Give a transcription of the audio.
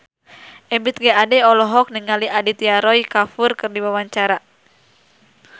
Ebith G. Ade olohok ningali Aditya Roy Kapoor keur diwawancara